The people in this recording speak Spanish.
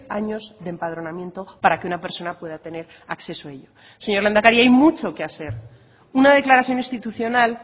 años de empadronamiento para que una persona pueda tener acceso a ello señor lehendakari hay mucho que hacer una declaración institucional